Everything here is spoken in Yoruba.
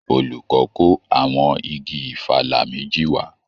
Olùkọ́ kó àwọn igi ìfàlà méjì wá